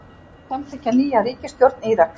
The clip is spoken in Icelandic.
Samþykkja nýja ríkisstjórn Íraks